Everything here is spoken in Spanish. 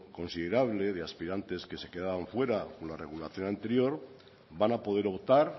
considerable de aspirantes que se quedaban fuera con la regulación anterior van a poder optar